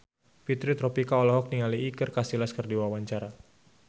Fitri Tropika olohok ningali Iker Casillas keur diwawancara